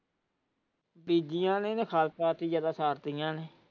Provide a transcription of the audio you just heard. ਨੇ।